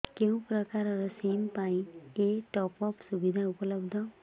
କେଉଁ ପ୍ରକାର ସିମ୍ ପାଇଁ ଏଇ ଟପ୍ଅପ୍ ସୁବିଧା ଉପଲବ୍ଧ